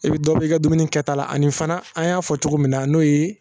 I bɛ dɔ bɔ i ka dumuni kɛta la ani fana an y'a fɔ cogo min na n'o ye